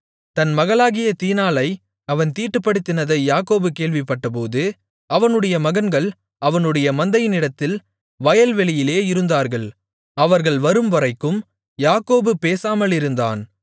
தன் மகளாகிய தீனாளை அவன் தீட்டுப்படுத்தினதை யாக்கோபு கேள்விப்பட்டபோது அவனுடைய மகன்கள் அவனுடைய மந்தையினிடத்தில் வயல்வெளியிலே இருந்தார்கள் அவர்கள் வரும்வரைக்கும் யாக்கோபு பேசாமலிருந்தான்